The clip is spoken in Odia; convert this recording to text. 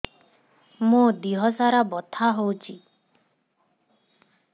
ମୋ ଦିହସାରା ବଥା ହଉଚି